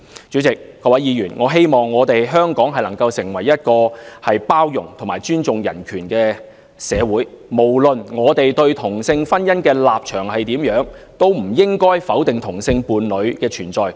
主席、各位議員，我希望香港能夠成為一個包容及尊重人權的社會，無論我們對同性婚姻的立場如何，都不應該否定同性伴侶的存在。